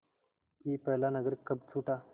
कि पहला नगर कब छूटा